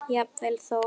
Jafnvel þó